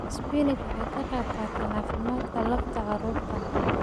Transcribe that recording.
Spinach waxay ka qaybqaadataa caafimaadka lafta carruurta.